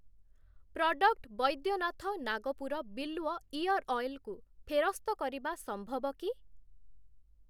Product Baidyanath Nagpur Bilwa ear oil କୁ ଫେରସ୍ତ କରିବା ସମ୍ଭବ କି?